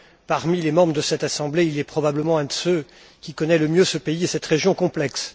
Parmi les membres de cette Assemblée, il est probablement un de ceux qui connaît le mieux ce pays et cette région complexe.